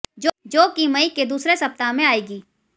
जो कि मई के दूसरे सप्ताह में आयेगी